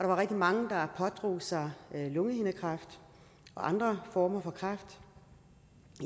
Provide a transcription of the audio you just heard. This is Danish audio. var rigtig mange der pådrog sig lungehindekræft og andre former for kræft